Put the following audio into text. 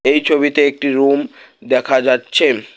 এই ছবিতে একটি রুম দেখা যাচ্ছে।